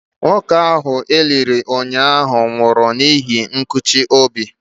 Nwoke ahụ e liri ụnyaahụ nwụrụ n'ihi nkụchi obi.